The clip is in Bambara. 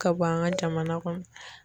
Ka bɔ an ka jamana kɔnɔ